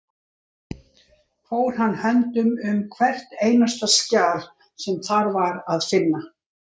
Fór hann höndum um hvert einasta skjal sem þar var að finna.